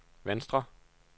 venstre